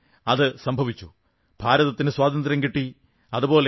പക്ഷേ അതു സംഭവിച്ചു ഭാരതത്തിനു സ്വാതന്ത്ര്യം കിട്ടി